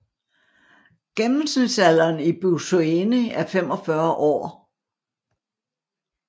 Gennemsnitsalderen i Buzoeni er 45 år